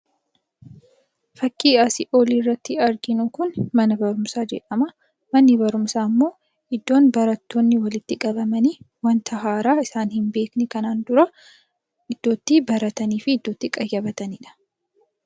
Fakkii asii olii irratti arginu kun mana barumsaa jedhama. Manni barumsa immoo iddoo namoonni walitti qabamanii wanta haaraa isaan hin beekne kanaan dura iddootti baratanii fi qayyabatanidha.